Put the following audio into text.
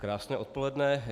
Krásné odpoledne.